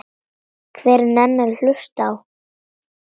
Hver nennir að hlusta á.